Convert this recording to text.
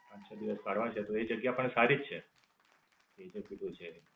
પાંચ, છ દિવસ કાઢવાના છે તો એ જગ્યા પણ સારી જ છે. બીજું ભી કોઈ છે.